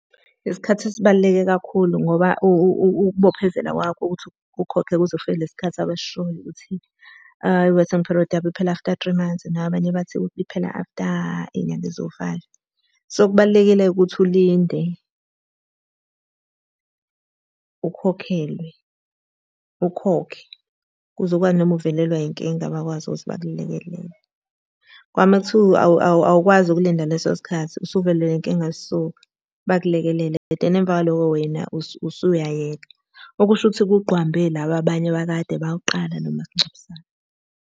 Isikhathi sibaluleke kakhulu ngoba ukubophezela kwakho ukuthi ukhokhe kuze kufike lesi sikhathi abasishoyo ukuthi i-waiting period yabo iphela after three months, nabanye bathi iphela after iy'nyanga eziwu-five. So, Kubalulekile-ke ukuthi ulinde, ukhokhelwe, ukhokhe, ukuze ukwazi noma uvelelwa yinkinga bakwazi ukuthi bakulekelele. Kodwa uma kuthiwa awukwazi ukulinda leso sikhathi usuvelelwe inkinga, so bayakulekelela. But then emva kwaloko wena usuyayeka. Okusho ukuthi kugqwambe laba abanye abakade bawuqala lo masingcwabisane.